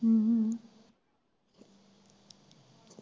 ਹਮ ਹਮ